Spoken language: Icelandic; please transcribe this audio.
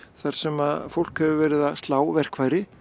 þar sem fólk hefur verið að slá verkfæri